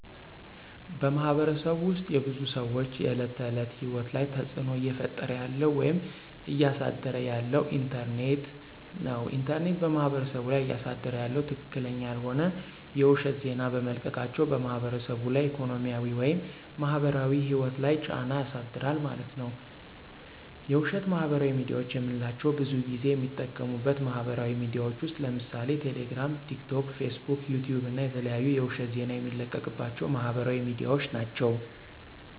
በማህበረሰቡ ውስጥ የብዙ ሰዎች የዕለት ተዕለት ህይወት ላይ ተፅዕኖ እየፈጠረ ያለው ወይም እያሳደረ ያለው ኢንተርኔት ነው። ኢንተርኔት በማህበረሰቡ ላይ እያሳደረ ያለው ትክክለኛ ያልሆነ የውሸት ዜና በመልቀቃቸው በማህበረሰቡ ላይ ኢኮኖሚያዊ ወይም ማህበራዊ ህይወት ላይ ጫና ያሳድራል ማለት ነዉ። የውሸት ማህበራዊ ሚድያዎች የምንላቸው ብዙን ጊዜ የሚጠቀሙበት ማህበራዊ ሚድያዎች ውስጥ ለምሳሌ ቴሌግራም፣ ቲክቶክ፣ ፌስቡክ፣ ዩቲዩብ እና የተለያዩ የውሸት ዜና የሚለቀቅባቸው ማህበራዊ ሚድያዎች ናቸው።